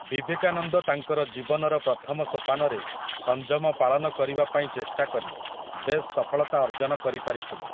ବିବେକାନନ୍ଦ ତାଙ୍କର ଜୀବନର ପ୍ରଥମ ସୋପାନରେ ସଂଯମ ପାଳନ କରିବା ପାଇଁ ଚେଷ୍ଟାକରି ବେଶ୍ ସଫଳତା ଅର୍ଜନ କରିପାରିଥିଲେ ।